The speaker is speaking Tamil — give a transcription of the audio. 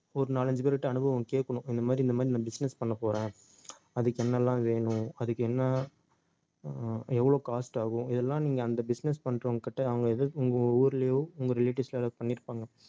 ஒரு நாலஞ்சு பேர்கிட்ட அனுபவம் கேட்கணும் இந்த மாதிரி இந்த மாதிரி நான் business பண்ணப்போறேன் அதுக்கு என்ன எல்லாம் வேணும் அதுக்கு என்ன அஹ் எவ்வளவு cost ஆகும் இதெல்லாம் நீங்க அந்த business பண்றவங்ககிட்ட அவங்க உங்க ஊர்லயோ உங்க relatives லயோ யாராவது பண்ணியிருப்பாங்க